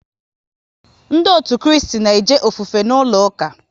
Ndị otu Kristi na eje ofufe n'ụlọ ụka